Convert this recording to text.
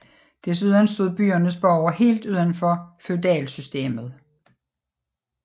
Desuden stod byernes borgere helt uden for feudalsystemet